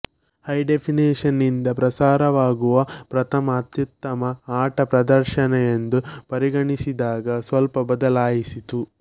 high definition ನಿಂದ ಪ್ರಸಾರವಾಗುವ ಪ್ರಥಮ ಅತ್ಯುತ್ತಮ ಆಟ ಪ್ರದರ್ಶನ ಎಂದು ಪರಿಗಣಿಸಿದಾಗ ಸ್ವಲ್ಪ ಬದಲಾಯಿಸಿತು